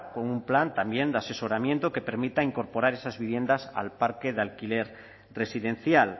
con un plan también de asesoramiento que permita incorporar esas viviendas al parque de alquiler residencial